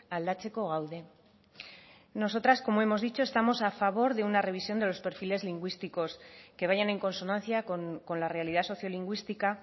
aldatzeko gaude nosotras como hemos dicho estamos a favor de una revisión de los perfiles lingüísticos que vayan en consonancia con la realidad sociolingüística